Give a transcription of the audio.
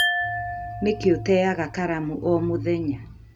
Nikĩ uteaga karamu om mũthenya